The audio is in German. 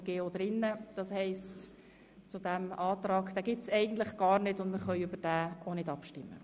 Es gibt also gar keine Möglichkeit für diesen Ordnungsantrag, und wir können auch nicht darüber abstimmen.